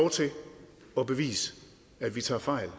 og at bevise at vi tager fejl